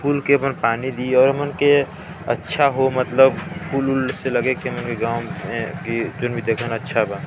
फूल के बन पानी दी और मन के अच्छा हो मतलब फूल उल लागे के मन के गांव मेके जोन भी देखन अच्छा बा--